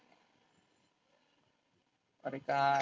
अरे काय?